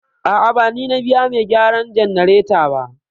A'a, ba ni na biya mai gyaran jannareta ba.